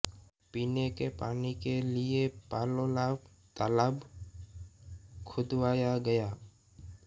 पिने के पानी के लिये पालोलाब तालाब खुदवाया गया